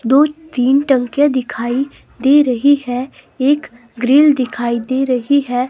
दो तीन टंकियां दिखाई दे रही है एक ग्रिल दिखाई दे रही है।